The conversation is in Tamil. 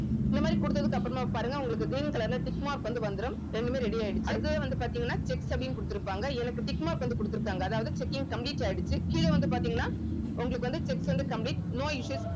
இந்த மாதிரி கொடுத்ததுக்கு அப்புறமா பாருங்க உங்களுக்கு green color ல tick mark வந்து வந்துடும் ரெண்டுமே ready ஆயிடுச்சு அடுத்தது வந்து பாத்தீங்கன்னா checks அப்படின்னு குடுத்திருப்பாங்க எனக்கு tick mark வந்து கொடுத்திருக்காங்க அதாவது checking complete ஆயிடுச்சு கீழ வந்து பாத்தீங்கன்னா உங்களுக்கு வந்து checks வந்து complete no issues